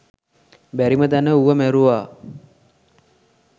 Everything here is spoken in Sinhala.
බැරිම තැන ඌව මැරුවා.